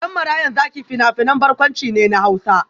Dan Marayan Zaki fina-finan barkwanci ne na Hausa.